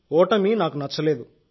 ఓటమి నాకు నచ్చలేదు